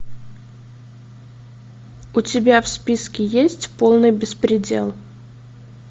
у тебя в списке есть полный беспредел